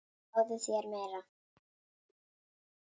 Fáðu þér meira!